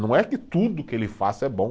Não é que tudo que ele faça é bom.